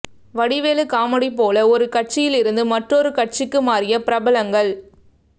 Vadivelu comedy போல ஒரு கட்சியில் இருந்து மற்றொரு கட்சிக்கு மாறிய பிரபலங்கள்